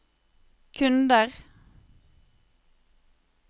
kunder